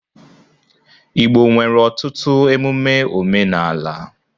Igbo nwere ọtụtụ emume omenala.